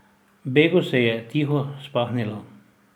Begu se je tiho spahnilo.